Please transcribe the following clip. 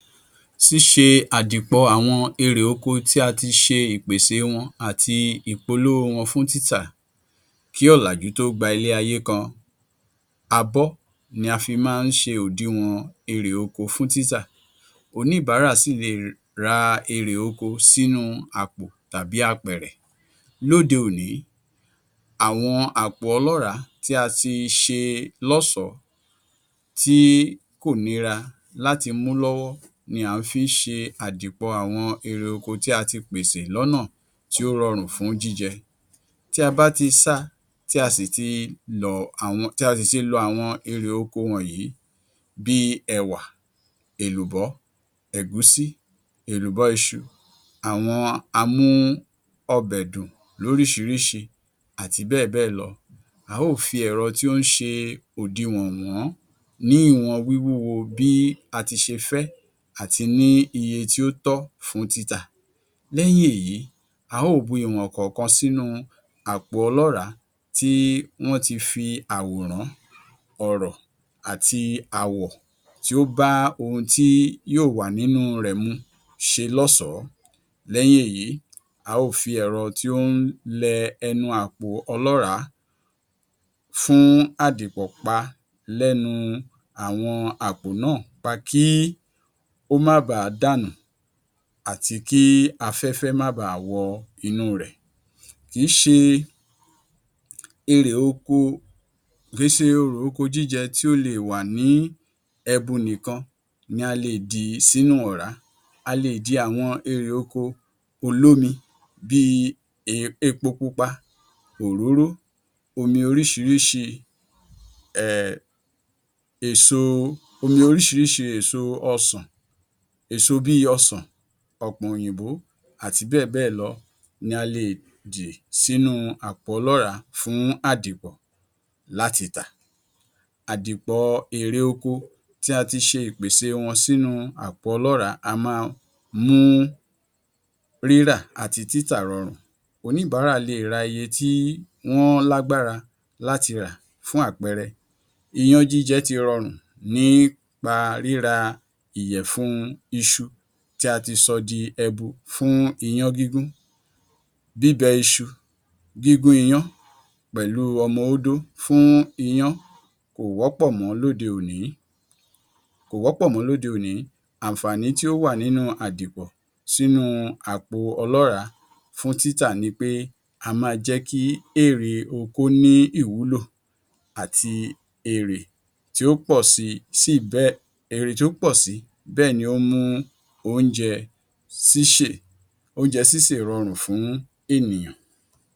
Ṣíṣe àdìpọ̀ àwọn erè oko tí a ti ṣe ìpèsè e wọn àti ìpolówó wọn fún títà Kí ọ̀làjú tó gba ilé ayé kàn, abọ́ ni a fi máa ń ṣe òdiwòn erè oko fún títà. Oníbàárà sì lè ra erè oko sínú àpò tàbí apẹ̀rẹ̀. Lóde-òní àwọn àpò ọlọràá tí a ti ṣe lọ́ṣọ̀ọ́ tí kò nira láti mú lọ́wọ́ ni a fi ń ṣe àdìpọ̀ àwọn erè oko tí a ti pèsè lọ́nà tí ó rọrùn fún jíjẹ. Tí a bá ti sáa tí a sì ti lọ àwọn tí a sì ti lọ àwọn erè oko wọ̀nyí bíi ẹ̀wà, èlùbọ́, ẹ̀gúsí, èlùbọ́ iṣu, àwọn amú-ọbẹ̀-dùn lóríṣiríṣi àti bẹ́ẹ̀bẹ́ẹ̀lọ. A ó fi ẹ̀rọ tí ó ń ṣe òdiwọ̀n wọ̀n-ọ́n ní ìwọn wíwúwo bí a ti ṣe fẹ́ àti ní iye tí ó tọ́ fún títà. Lẹ́yìn èyí a ó bu ìwọ̀n kọ̀ọ̀kan sínú àpò ọlọ́ràá tí wọ́n ti fi àwòrán, ọ̀rọ̀ àti àwọ̀ tí ó bá ohun tí yóò wà nínú rẹ̀ mu ṣe lọ́sọ̀ọ́. Lẹ́yìn èyí, a ó fi èrọ tí ó ń lẹ ẹnu àpò ọlọ́ràá fún àdìpọ̀ pa lẹ́nu àwọn àpò náà nípa kí ó má baà dànù àti kí afẹ́fẹ́ má baà wọ inúu rẹ̀. Kì í ṣe erè oko kì í ṣe erè oko jíjẹ tí ó lè wà ní ẹbu nìkan ni a lè dì sínú ọ̀rá. A lè di erè oko olómi bíi e epo pupa, òróró, omi oríṣiríṣi um èso omi oríṣiríṣi èso ọsàn èso bíi ọsàn, ọ̀pọ̀n òyìnbó àti bẹ́ẹ̀bẹ́ẹ̀lọ ni a leè dì sínú àpò ọlọ́ràá fún àdìpọ̀ láti tà. Àdìpọ̀ erè oko tí a ti ṣe ìpèsè wọn sínu àpò ọlọ́ràá á máa mú rírà àti títà rọrùn. Oníbàárà leè ra iye tí wọ́n lágbára láti rà. Fún àpẹẹrẹ, iyán jíjẹ ti rọrùn nípa ríra ìyẹ̀fun iṣu tí a ti sọ di ẹbu fún iyán gígún. Bíbẹ iṣu, gígún iyán pẹ̀lú ọmọ ódó fún iyán kò wọ́pọ̀ mọ̀ọ́ lóde òní kò wọ́pọ̀ mọ́ lóde òní. Àǹfààní tí ó wà nínú àdìpọ̀ sínú àpò ọlọ́ràá fún títà ni í pé á máa jẹ́ kí erè oko ní ìwúlò àti èrè tí ó pọ̀ si sí èrè tí ó pò sí bẹ́ẹ̀ ni ó ń mú oúnjẹ síṣè oúnjẹ sísè rọrùn fún ènìyàn.